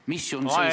Mis on 17 ...